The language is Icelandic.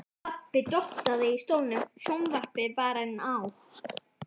Pabbi dottaði í stólnum, sjónvarpið var enn á.